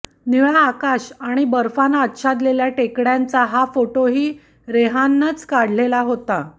निळं आकाश आणि बर्फानं आच्छादलेल्या टेकड्यांचा हा फोटोही रेहाननंच काढलेला होता